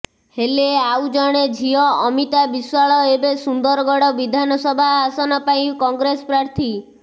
ହେଲେ ଆଉ ଜଣେ ଝିଅ ଅମିତା ବିଶ୍ବାଳ ଏବେ ସୁନ୍ଦରଗଡ ବିଧାନସଭା ଆସନ ପାଇଁ କଂଗ୍ରେସ ପ୍ରାର୍ଥୀ